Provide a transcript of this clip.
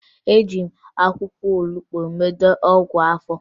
Eji m akwụkwọ olubo meta ọgwụ afọ